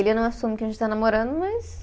Ele não assume que a gente está namorando, mas...